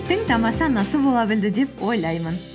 тамаша анасы бола білді деп ойлаймын